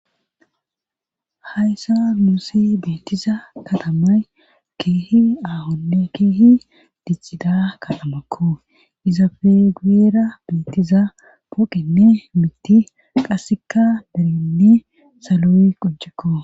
hayssan muusi beettiza katamay keehi aahonne keehi diccida katamakko izafe guyera beettiza poqenne miti qasseka berenne saloyy qoncekko.